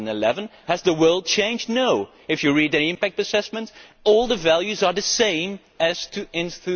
2011? Has the world changed? No, if you read the impact assessment all the values are the same as in